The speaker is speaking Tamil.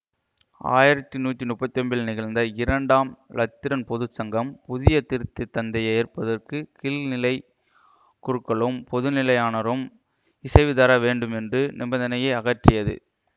ஆயிரத்தி நூத்தி நுப்பத்தி ஒன்பதில் நிகழ்ந்த இரண்டாம் இலத்திரன் பொது சங்கம் புதிய திருத்ததந்தையை ஏற்பதற்கு கீழ்நிலை குருக்களும் பொதுநிலையானரும் இசைவுதர வேண்டும் என்னும் நிபந்தனையை அகற்றியது